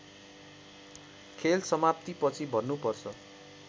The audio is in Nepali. खेल समाप्तिपछि भन्नुपर्छ